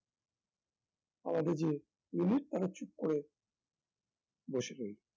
আমাদের যে unit তারা চুপ করে বসে রইল